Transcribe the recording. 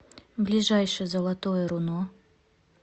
ближайший золотое руно